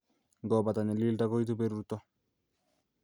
Ngobata nyalilda koitu berurto